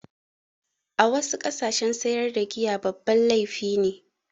A wassu ƙasashe sayar da giya babban laifi ne